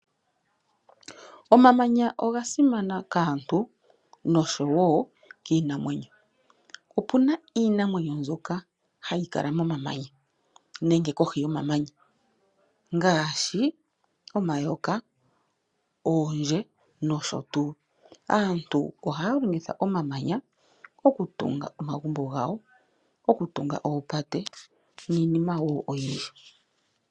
Omamanya oga simana kaantu nosho wo kiinamwenyo. Opuna iinamwenyo mboka hayi kala momamanya nenge kohi yomamanya ngaashi omaayoka, oondje nosho tuu. Aantu ohaya longitha omamanya okutunga omagubo, okutunga oopate niinima woo oyindji.